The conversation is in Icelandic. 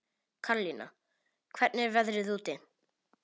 Karlína, hvernig er veðrið úti?